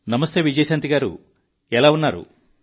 నమస్తే విజయశాంతి గారూ మీరు ఎలా ఉన్నారు